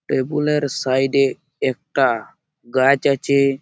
টেবুলের side -এ একটা গাছ আছে-এ ।